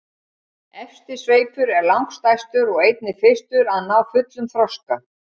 efsti sveipur er langstærstur og einnig fyrstur að ná fullum þroska